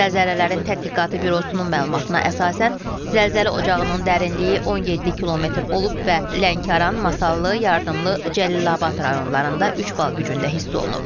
Zəlzələlərin Tədqiqatı Bürosunun məlumatına əsasən zəlzələ ocağının dərinliyi 17 km olub və Lənkəran, Masallı, Yardımlı, Cəlilabad rayonlarında üç bal gücündə hiss olunub.